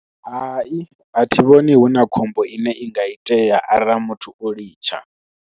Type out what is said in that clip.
Hai a thi vhoni hu na khombo ine i nga itea arali muthu o litsha.